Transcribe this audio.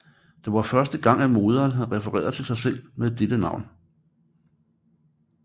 Det var første gang at morderen have refereret til sig selv med dette navn